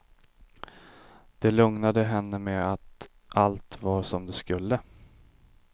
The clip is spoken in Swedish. De lugnade henne med att allt var som det skulle.